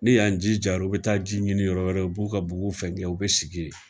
Ni y'an ji jara, u bi taa ji ɲini yɔrɔ wɛrɛ, u b'u ka bugu fɛn kɛ, u bi sigi yen.